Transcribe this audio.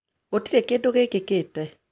Gũtirĩ kĩndũ gĩkĩkĩte.